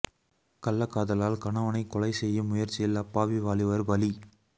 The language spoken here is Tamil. கள்ளகாதலால் கணவனை கொலை செய்யும் முயற்சியில் அப்பாவி வாலிபர் பலி